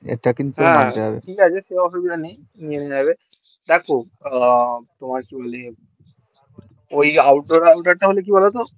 ঠিক আছে কোনো অসুবিধা নেই নিয়ে নেবো দেখো তোমার কেউ নেই ওই out door under টা হলে কি বলতো